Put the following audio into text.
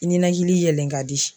Ninakili yɛlɛn ka di